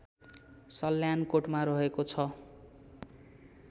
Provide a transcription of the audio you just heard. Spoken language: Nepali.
सल्यानकोटमा रहेको छ